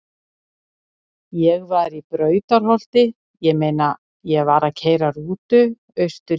Ég var í Brautarholti- ég meina ég var að keyra rútu austur í